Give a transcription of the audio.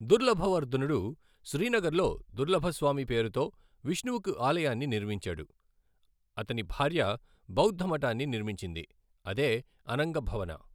దుర్లభవర్ధనుడు, శ్రీనగర్లో దుర్లభస్వామి పేరుతో విష్ణువుకు ఆలయాన్ని నిర్మించాడు, అతని భార్య బౌద్ధ మఠాన్ని నిర్మించింది, అదే అనంగభవన.